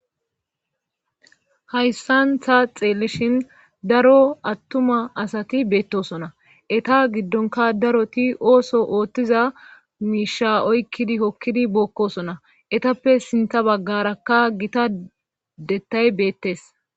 Hayssan ta xeelishin daro attuma asati beettosona eta giddonka daroti ooso oottiza miisha oykkidi hokkidi bookkosona etappe sinta baggarakka gita dettay beettes.